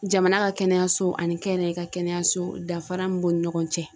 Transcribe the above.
Jamana ka kɛnɛyaso ani kɛnɛya ka kɛnɛya so danfara min b'u ni ɲɔgɔn cɛ.